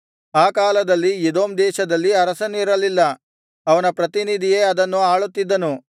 ಆ ಕಾಲದಲ್ಲಿ ಎದೋಮ್ ದೇಶದಲ್ಲಿ ಅರಸನಿರಲಿಲ್ಲ ಅವನ ಪ್ರತಿನಿಧಿಯೇ ಅದನ್ನು ಆಳುತ್ತಿದ್ದನು